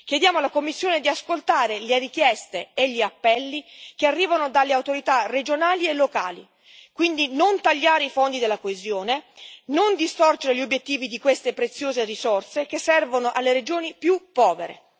Chiediamo alla Commissione di ascoltare le richieste e gli appelli che arrivano dalle autorità regionali e locali, quindi non tagliare i fondi della coesione, non distorcere gli obiettivi di queste preziose risorse che servono alle regioni più povere.